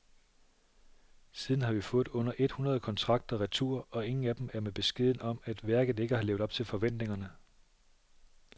Siden har vi fået under et hundrede kontrakter retur, og ingen af dem er med beskeden om, at værket ikke har levet op til forventningerne.